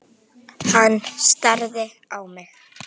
Hann starði á mig.